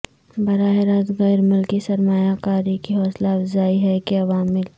براہ راست غیر ملکی سرمایہ کاری کی حوصلہ افزائی ہے کہ عوامل